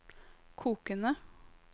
kokende